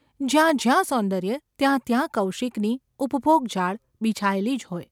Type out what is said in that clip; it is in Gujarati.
જ્યાં જ્યાં સૌંદર્ય ત્યાં ત્યાં કૌશિકની ઉપભોગજાળ બિછાયેલી જ હોય.